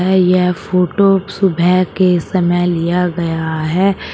है यह फोटो सुबह के समय लिया गया है।